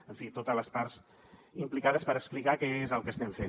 en fi totes les parts implicades per explicar què és el que estem fent